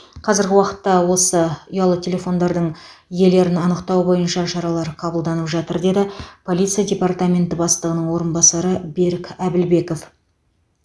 қазіргі уақытта осы ұялы телефондардың иелерін анықтау бойынша шаралар қабылданып жатыр деді полиция департаменті бастығының орынбасары берік әбілбеков